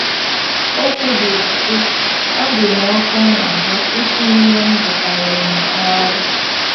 O kwubiri, sị: “ Ọ dị m ọkụ n’ahụ́ itinye ihe m gụtaworo n’ọrụ. ”